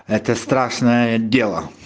это страшное дело